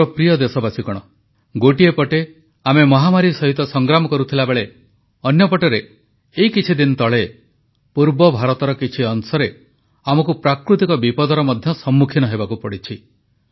ମୋର ପ୍ରିୟ ଦେଶବାସୀଗଣ ଗୋଟିଏ ପଟେ ଆମେ ମହାମାରୀ ସହିତ ସଂଗ୍ରାମ କରୁଥିବାବେଳେ ଅନ୍ୟପଟରେ ଏଇ କିଛିଦିନ ତଳେ ପୂର୍ବ ଭାରତର କିଛି ଅଂଶରେ ଆମକୁ ପ୍ରାକୃତିକ ବିପଦର ମଧ୍ୟ ସମ୍ମୁଖୀନ ହେବାକୁ ପଡ଼ିଛି